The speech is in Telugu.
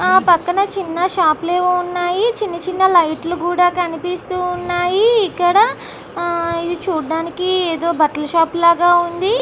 ఆ పక్కన చిన్న షాపు లు ఏవో ఉన్నాయి. చిన్న చిన్న లైట్ లు ఏవో కనిపిస్తు ఉన్నాయి ఇక్కడ. ఆహ్ ఇది చూడడానికి ఏదో బట్టల షాపు లా ఉంది.